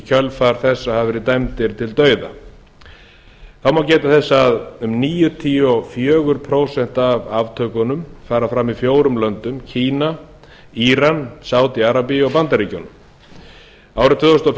kjölfar þess að hafa verið dæmdir til dauða það má geta þess að um níutíu og fjögur prósent af aftökunum fara fram í fjórum löndum kína íran landi arabíu og bandaríkjunum árið tvö þúsund